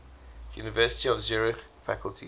university of zurich faculty